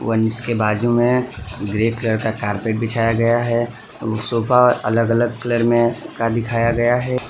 वंश के बाजू में ग्रे कलर का कारपेट बिछाया गया है उ सोफा अलग अलग कलर में का दिखाया गया है।